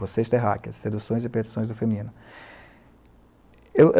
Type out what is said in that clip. Vocês terráqueas, Seduções e Perdições do Feminino. Eu, é...